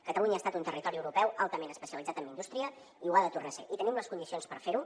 catalunya ha estat un territori europeu altament especialitzat en indústria i ho ha de tornar a ser i tenim les condicions per fer ho